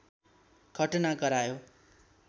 घटना गरायो